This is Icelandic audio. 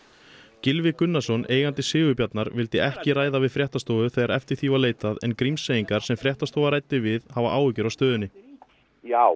Gylfi Gunnarsson eigandi Sigurbjarnar vildi ekki ræða við fréttastofu þegar eftir því var leitað en Grímseyingar sem fréttastofa ræddi við hafa áhyggjur af stöðunni já